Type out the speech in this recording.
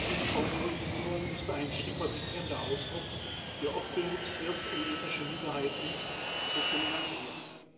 Diese Formulierung ist ein stigmatisierender Ausdruck, der oft benutzt wird, um ethnische Minderheiten zu kriminalisieren.